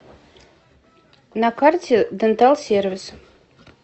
на карте дентал сервис